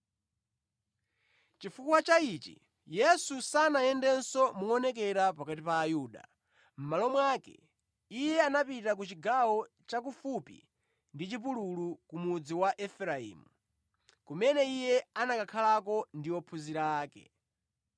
Chifukwa cha ichi Yesu sanayendenso moonekera pakati pa Ayuda. Mʼmalo mwake Iye anapita ku chigawo cha kufupi ndi chipululu, ku mudzi wa Efereimu, kumene Iye anakhalako ndi ophunzira ake.